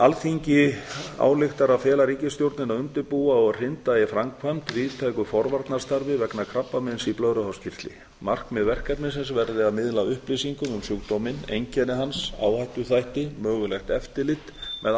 alþingi ályktar að fela ríkisstjórninni að undirbúa og hrinda í framkvæmd víðtæku forvarnastarf vegna krabbameins í blöðruhálskirtli markmið verkefnisins verði að miðla upplýsingum um sjúkdóminn einkenni hans áhættuþætti mögulegt eftirlit með